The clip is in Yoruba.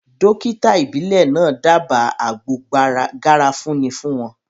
Dókítà ìbílẹ̀ náà dába àgbo garafuni fún wọn